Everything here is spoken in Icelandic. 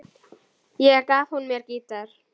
Ekki gaf hún mér gítar.